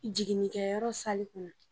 Jiginkɛyɔrɔ sali kɔnɔ.